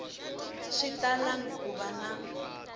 swi talangi ku va na